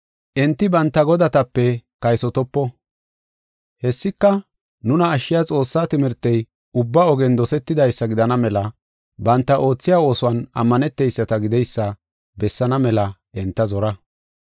Enti banta godatape kaysotopo. Hessika, nuna ashshiya Xoossaa timirtey, ubba ogen dosetidaysa gidana mela banta oothiya oosuwan ammaneteyisata gideysa bessaana mela enta zora.